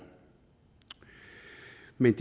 men